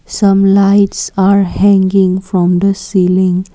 some lights are hanging from the ceiling.